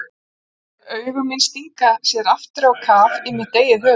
Augu mín stinga sér aftur á kaf í mitt eigið höfuð.